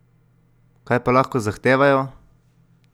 Kaj pa lahko zahtevajo?